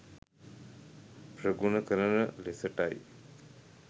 ප්‍රගුණ කරන ලෙසටයි.